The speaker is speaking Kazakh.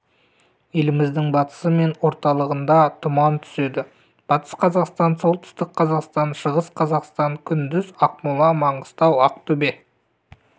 еліміздің батысы мен орталығында тұман түседі батыс қазақстан солтүстік қазақстан шығыс қазақстан күндіз ақмола маңғыстау ақтөбе